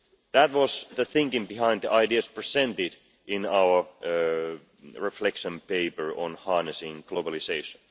That was the thinking behind the ideas presented in our reflection paper on harnessing globalisation.